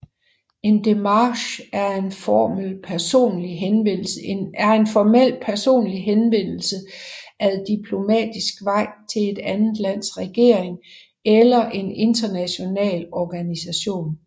En demarche er en formel personlig henvendelse ad diplomatisk vej til et andet lands regering eller en international organisation